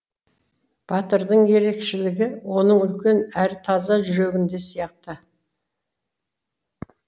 батырдың ерекшелігі оның үлкен әрі таза жүрегінде сияқты